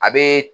A bee